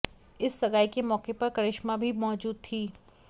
इस सगाई के मौके पर करिश्मा भी मौजूद थी